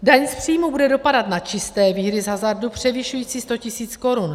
Daň z příjmu bude dopadat na čisté výhry z hazardu převyšující 100 000 Kč.